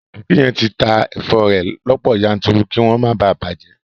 Aboki yen ti ta èfo rẹ̀ lọ́pọ̀ yanturu kí wọ́n má bàa bàjẹ́